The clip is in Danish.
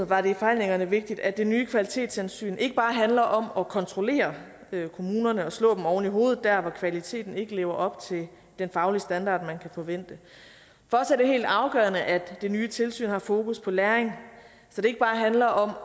var det i forhandlingerne vigtigt at det nye kvalitetshensyn ikke bare handler om at kontrollere kommunerne og slå dem oven i hovedet der hvor kvaliteten ikke lever op til den faglige standard man kan forvente for os er det helt afgørende at det nye tilsyn har fokus på læring så det ikke bare handler om